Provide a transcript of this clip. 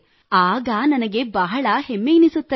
ಆಗ ನನಗೆ ಬಹಳ ಹೆಮ್ಮೆಯೆನ್ನಿಸುತ್ತದೆ